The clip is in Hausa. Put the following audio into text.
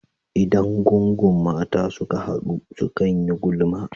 Idan gungun mata suka hadu, sukan yi gulma.